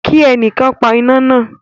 Ki ẹnìkan pa iná náà.